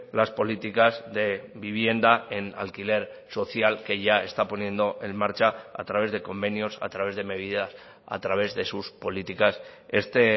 las políticas de vivienda en alquiler social que ya está poniendo en marcha a través de convenios a través de medidas a través de sus políticas este